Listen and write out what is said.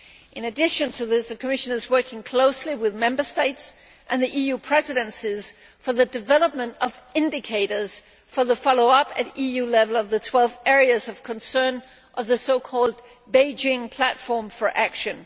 In addition to this, the Commission is working closely with Member States and the EU Presidencies for the development of indicators for the follow up at EU level of the 12 areas of concern of the so called Beijing Platform for Action.